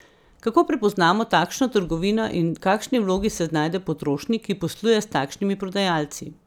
Kako prepoznamo takšno trgovino in v kakšni vlogi se znajde potrošnik, ki posluje s takšnimi prodajalci?